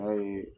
N'a ye